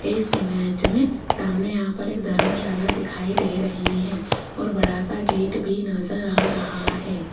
इस इमेज में सामने यहां पर एक धर्मशाला दिखाई दे रही है और एक बड़ा सा गेट भी नजर आ रहा है।